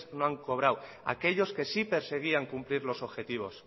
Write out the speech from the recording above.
no han cobrado aquellos que sí perseguían cumplir los objetivos